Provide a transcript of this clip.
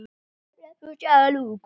Dagný Hrund.